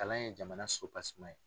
Kalan ye jamana s ye.